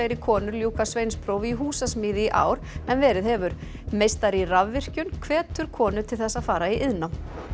konur ljúka sveinsprófi í húsasmíði í ár en verið hefur meistari í rafvirkjun hvetur konur til þess að fara í iðnnám